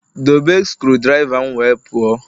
Dobe screwdriver m wee pụọ!